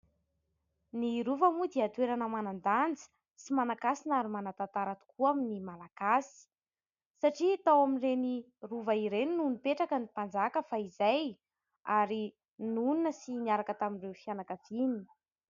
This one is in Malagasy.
Ny Rova moa dia toerana manan-danja sy manan-kasina ary manan-tantara tokoa amin'ny malagasy satria tao amin'ireny Rova ireny no nipetraka ny mpanjaka fahizay ary nonina sy niaraka tamin'ireo fianakaviany.